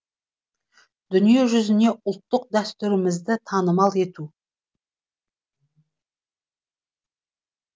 дүниежүзіне ұлттық дәстүрлерімізді танымал ету